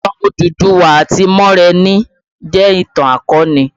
Ìtàn Odùduwà àti Moremi jẹ ìtàn akọni